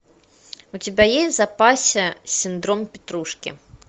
у тебя есть в запасе синдром петрушки